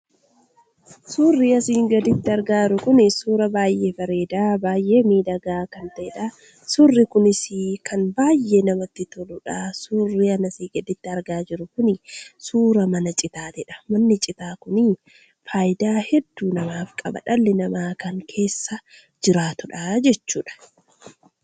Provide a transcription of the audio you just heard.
Surrii asin gadiitti argaa jiruu kun, suuraa baay'ee bareeda, baay'ee midhaga kan ta'edha. Suurri kunis kan baay'ee namatti toludha. Surri ani asi gaditti arga jiru kun suuraa mana Ciitaadha. Surri mana Ciitaa kuni faayidaa heduu namaaf qaba. Dhalii nama kan keessaa jiratuudha jechuudha.